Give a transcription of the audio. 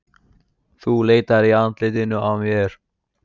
Þú leitar í andlitinu á mér.